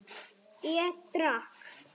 Ég drakk.